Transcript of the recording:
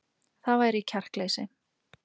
Það væri kjarkleysi